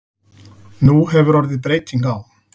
Nú hefur orðið breyting á.